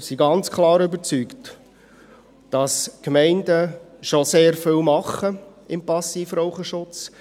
Wir sind ganz klar überzeugt, dass die Gemeinden schon sehr viel machen für den Passivrauchschutz.